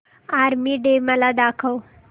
army day मला दाखव